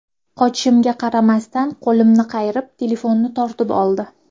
Qochishimga qaramasdan qo‘limni qayirib, telefonni tortib oldi.